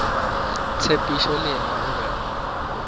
tshepišo le yena o be